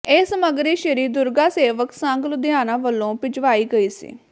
ਇਹ ਸਮੱਗਰੀ ਸ਼੍ਰੀ ਦੁਰਗਾ ਸੇਵਕ ਸੰਘ ਲੁਧਿਆਣਾ ਵੱਲੋਂ ਭਿਜਵਾਈ ਗਈ ਸੀ